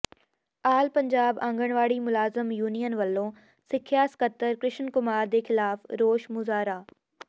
ਆਲ ਪੰਜਾਬ ਆਂਗਨਵਾੜੀ ਮੁਲਾਜਮ ਯੂਨੀਅਨ ਵੱਲੋਂ ਸਿੱਖਿਆ ਸਕੱਤਰ ਕ੍ਰਿਸ਼ਨ ਕੁਮਾਰ ਦੇ ਖ਼ਿਲਾਫ਼ ਰੋਸ ਮੁਜ਼ਾਹਰਾ